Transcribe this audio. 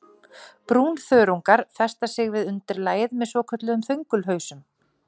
Brúnþörungar festa sig við undirlagið með svokölluðum þöngulhausum.